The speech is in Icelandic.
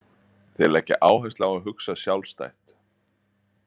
Þeir leggja áherslu á að hugsa sjálfstætt.